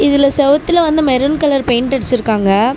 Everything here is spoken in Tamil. இதுல செவுத்துல வந்து மெரூன் கலர் பெயிண்ட் அடிச்சிருக்காங்க.